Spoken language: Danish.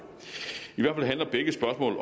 at